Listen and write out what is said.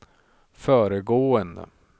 föregående